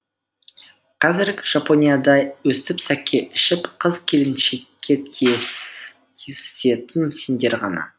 қазіргі жапонияда өстіп сакэ ішіп қыз келіншекке тиісетін сендер ғана